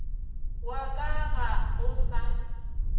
wa ka ga o sa